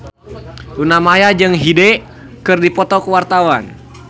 Luna Maya jeung Hyde keur dipoto ku wartawan